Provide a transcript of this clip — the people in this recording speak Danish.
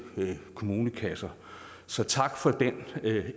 kommunekasser så tak for den